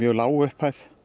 lág upphæð